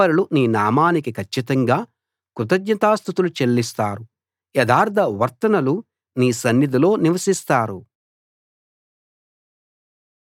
నీతిపరులు నీ నామానికి కచ్చితంగా కృతజ్ఞతాస్తుతులు చెల్లిస్తారు యథార్థవర్తనులు నీ సన్నిధిలో నివసిస్తారు